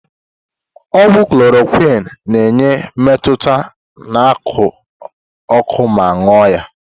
Ogwu Chloroquine na-enye mmetụta na ako oko ma ṅụo ya.